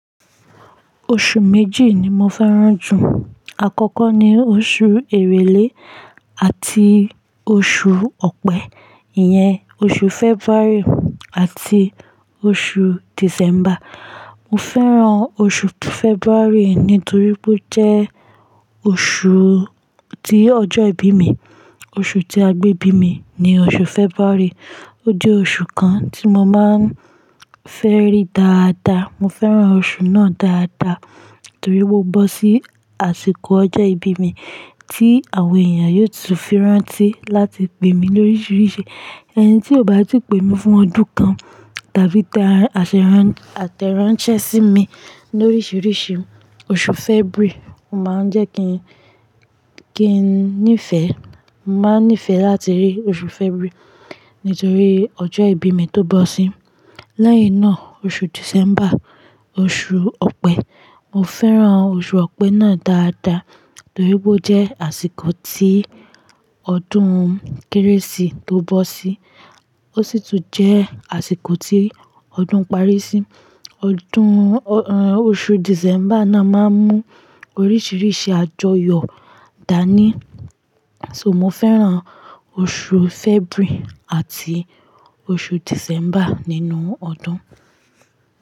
Oṣù méjì ni mo fẹ́ràn jù. Àkọ́kọ́ ni oṣù Èrèlé àti oṣù Ọ̀pẹ. Iyẹn oṣù February àti oṣù December. Mo fẹ́ràn oṣù February nítorí pé ó jẹ́ oṣù tí ọjọ́ ìbí mi. Oṣù tí a gbé bí mi ni oṣù February. Ó jẹ́ oṣù kan tí mo máa ń fẹ́ rí dáadáa. Mo fẹ́ràn oṣù náà dáadáa torí ó bọ́ sí àsìkò ọjọ́ ìbí mi tí àwọn èèyàn yóò tún firántí láti pè mí lóríṣiríṣi. Ẹni tí ò bá ti pè mí fún ọdún kan tàbí tẹ aṣéràn-- àtẹ̀ránṣẹ́ sí mi lóríṣiríṣi, oṣù February máa ń jẹ́ kí n, kí n nífẹ̀ẹ́. Mo máa ń nífẹ̀ẹ́ láti rí oṣù February nítorí ọjọ́ ìbí mi tó bọ̀ sí. Lẹ́yìn náà oṣù December, oṣù Ọ̀pẹ. Mo fẹ́ràn oṣù Ọ̀pẹ́ náà dáadáa torí ó jẹ́ àsìkò tí ọdún Kérésì tó bọ́ sí. Ó sì tún jẹ́ àsìkò tí ọdún parí sí. Ọdún, ehn, oṣù December náà máa ń mú oríṣiríṣi àjọyọ̀ dání. So mo fẹ́ràn oṣù February àti oṣù December nínú ọdún.